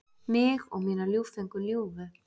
Mig og mína ljúffengu ljúfu.